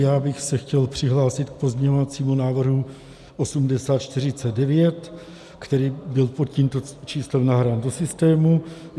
Já bych se chtěl přihlásit k pozměňovacímu návrhu 8049, který byl pod tímto číslem nahrán do systému.